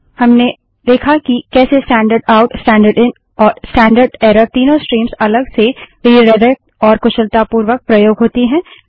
हमने देखा कि कैसे standard out standard in standard error तीनों स्ट्रीम्स अलग से रिडाइरेक्ट और कुशलतापूर्वक प्रयोग होती हैं